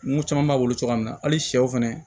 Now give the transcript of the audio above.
Ko caman b'a bolo cogoya min na hali sɛw fɛnɛ